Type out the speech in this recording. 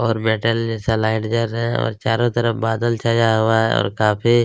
और मेटल जैसा लाइट जल रहा है और चारों तरफ बादल छाया हुआ है और काफ़ी --